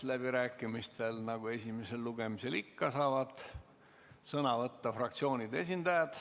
Läbirääkimistel saavad sõna võtta nagu esimesel lugemisel ikka fraktsioonide esindajad.